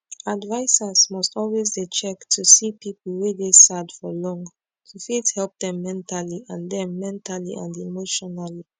advisers must always dey check to see people wey dey sad for long to fit help dem mentally and dem mentally and emotionally